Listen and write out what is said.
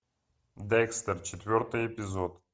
декстер четвертый эпизод